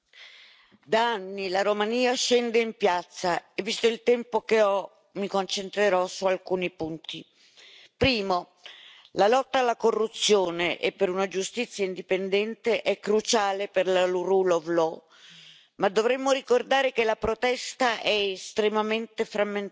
Signor Presidente, onorevoli colleghi, da anni la Romania scende in piazza. Visto il tempo che ho mi concentrerò su alcuni punti. Primo, la lotta alla corruzione e per una giustizia indipendente è cruciale per la Rule of Law, ma dovremmo ricordare che la protesta è estremamente frammentata.